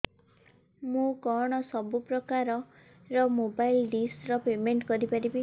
ମୁ କଣ ସବୁ ପ୍ରକାର ର ମୋବାଇଲ୍ ଡିସ୍ ର ପେମେଣ୍ଟ କରି ପାରିବି